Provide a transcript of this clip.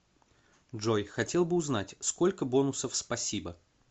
джой хотел бы узнать сколько бонусов спасибо